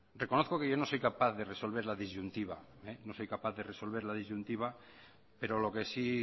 reconozco que yo no soy capaz de resolver la disyuntiva pero lo que sí